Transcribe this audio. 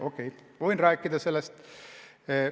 Okei, ma võin sellest rääkida.